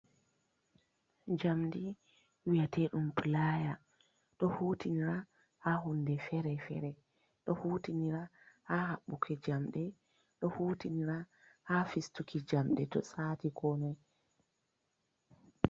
Jamɗi wiyateɗum pulaya. Ɗo hutinira ha hunɗe fere-fere. o hutinira ha habbuke jamɗe. Ɗo hutinira ha fistuki jamɗe to sati konoi.